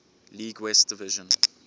league west division